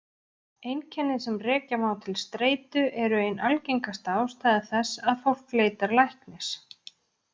Einkenni sem rekja má til streitu eru ein algengasta ástæða þess að fólk leitar læknis.